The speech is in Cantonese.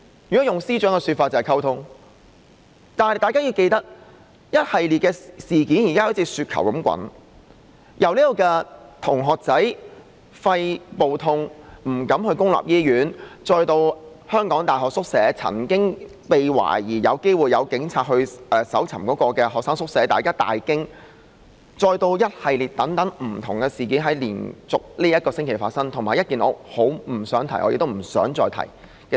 如果用司長的說法就是溝通，但大家要記得，一系列的事件現時像雪球般在滾大，由同學肺部感到疼痛但不敢到公立醫院求診，然後是懷疑有警員曾經到香港大學搜尋學生宿舍而令人大驚，以至這星期連續發生的一系列不同的事件，以及一件我不想再提的事情。